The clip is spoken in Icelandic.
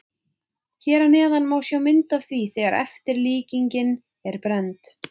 Hér að neðan má sjá mynd af því þegar eftirlíkingin er brennd.